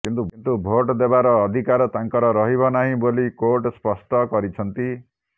କିନ୍ତୁ ଭୋଟ୍ ଦେବାର ଅଧିକାର ତାଙ୍କର ରହିବ ନାହିଁ ବୋଲି କୋର୍ଟ ସ୍ପଷ୍ଟ କରିଛନ୍ତି